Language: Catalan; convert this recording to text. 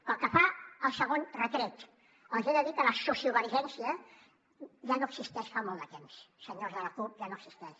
pel que fa al segon retret els he de dir que la sociovergència ja no existeix fa molt de temps senyors de la cup ja no existeix